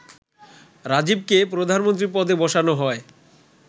রাজীবকে প্রধানমন্ত্রী পদে বসানো হয়